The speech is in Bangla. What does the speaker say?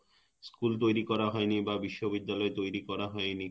School তৈরি করা হয়নি বা বিশ্ববিদ্যালয় তৈরি করা হয়নি